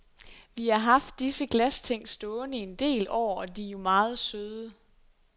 Vi har haft disse glasting stående i en del år, og de er jo meget søde.